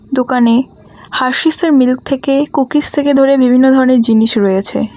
দোকানে হারসিসের মিল্ক থেকে কুকিজ থেকে ধরে বিভিন্ন ধরনের জিনিস রয়েছে।